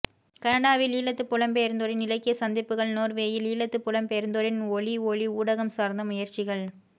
கனடாவில் ஈழத்துப் புலம்பெயர்ந்தோரின் இலக்கியச் சந்திப்புகள் நோர்வேயில் ஈழத்துப் புலம்பெயர்ந்தோரின் ஒலி ஔி ஊடகம் சார்ந்த முயற்சிகள்